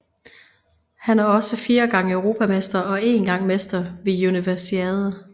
Han er også fire gange europamester og én gang mester ved Universiade